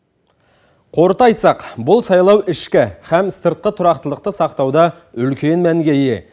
қорыта айтсақ бұл сайлау ішкі һәм сыртқы тұрақтылықты сақтауда үлкен мәнге ие